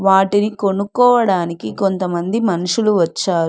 వాటిని కొనుక్కోవడానికి కొంతమంది మనుషులు వచ్చారు.